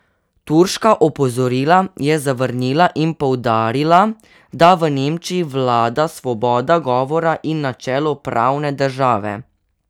Turška opozorila je zavrnila in poudarila, da v Nemčiji vlada svoboda govora in načelo pravne države.